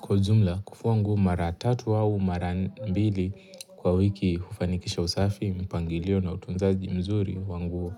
Kwa jumla kufua nguo mara tatu au mara mbili kwa wiki hufanikisha usafi mpangilio na utunzaji mzuri wa nguo.